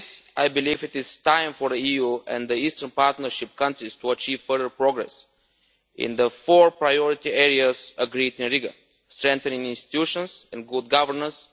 I believe it is time for the EU and the Eastern Partnership countries to achieve further progress in the four priority areas agreed in Riga strengthening institutions and good governance